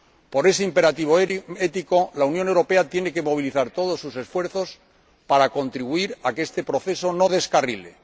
Por ese imperativo ético, la Unión Europea tiene que movilizar todos sus esfuerzos para contribuir a que este proceso no descarrile.